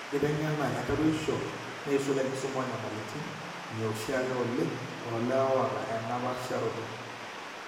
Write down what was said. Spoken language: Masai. Enkiteng'ena etarueshisho, neisul enkisuma oonyamalitin, ineoshiake oleng toolewa oata ena paasharoto.